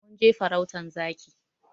Mun je farautan zaki.